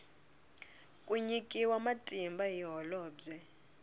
ku nyikiwa matimba hi holobye